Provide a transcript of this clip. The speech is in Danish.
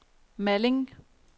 Malling